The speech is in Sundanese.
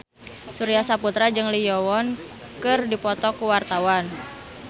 Surya Saputra jeung Lee Yo Won keur dipoto ku wartawan